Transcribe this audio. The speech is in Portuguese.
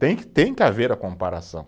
Tem que, tem que haver a comparação.